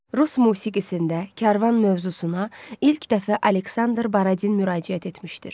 Rus musiqisində Kərvan mövzusuna ilk dəfə Aleksandr Baradin müraciət etmişdir.